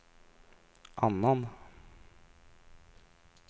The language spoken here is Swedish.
annan